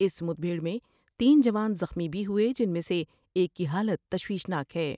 اس مد بھیٹر میں تین جوان زخمی بھی ہوۓ جس میں سے ایک کی حالت تشویشناک ہے۔